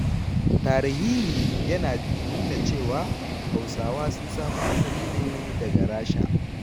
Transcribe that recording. Tarihihi ya nuna cewa, Hausawa sun samo asali ne daga Rasha.